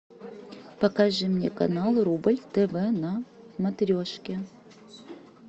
покажи мне канал рубль тв на смотрешке